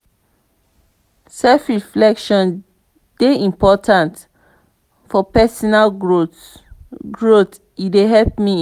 self-reflection dey important for personal growth; growth; e dey help me improve.